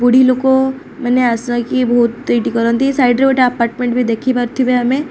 ବୁଢ଼ି ଲୋକମାନେ ଆସା କି ବହୁତ ଏଇଠି କରନ୍ତି ସାଇଟ୍ ରେ ଗୋଟେ ଆପାର୍ଟମେଣ୍ଟ ବି ଦେଖି ପାରୁଥିବେ ଆମେ।